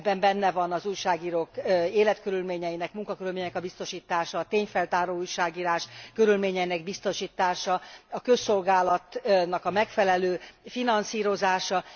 Ebben benne van az újságírók életkörülményeinek, munkakörülményeinek a biztosítása, a tényfeltáró újságírás körülményeinek biztosítása, a közszolgálatnak a megfelelő finanszírozása.